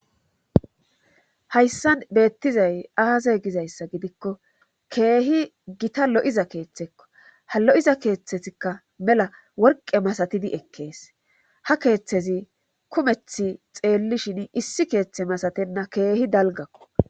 Hayssan beettizay aaze gizayssa gidikko keehi gita lo'iza keeththekko halo'iza keeththetikka mela worqe masatidi ekkees hakeeththezi kumeth xeellishin issi keeththe masatenna keehi dalgakko.